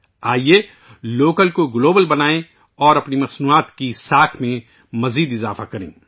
آئیے لوکل کو گلوبل بنائیں اور اپنی مصنوعات کی ساکھ کو اور بڑھائیں